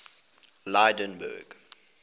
lydenburg